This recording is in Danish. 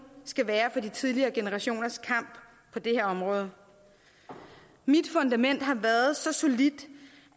skal være for de tidligere generationers kamp på det her område mit fundament har været så solidt